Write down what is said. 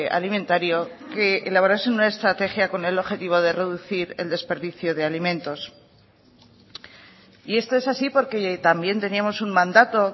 alimentario que elaborase una estrategia con el objetivo de reducir el desperdicio de alimentos y esto es así porque también teníamos un mandato